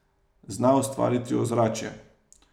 Zna ustvariti ozračje.